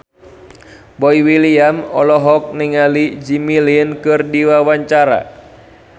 Boy William olohok ningali Jimmy Lin keur diwawancara